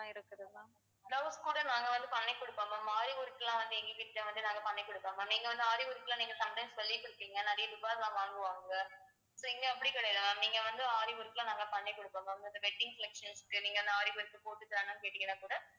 சொல்லி கொடுப்பீங்க நிறைய எல்லாம் வாங்குவாங்க so இங்க அப்படி கிடையாது ma'am நீங்க வந்து aari work எல்லாம் நாங்க பண்ணி குடுப்போம் ma'am இந்த wedding collections க்கு நீங்க அந்த ஆரி aari work போட்டு தாங்கன்னு கேட்டீங்கன்னா கூட